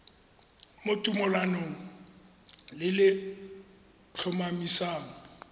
mo tumalanong le le tlhomamisang